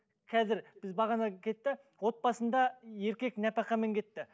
қазір біз бағана кетті отбасында еркек нәпақамен кетті